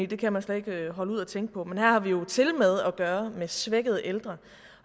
det kan man slet ikke holde ud at tænke på men her har vi jo tilmed at gøre med svækkede ældre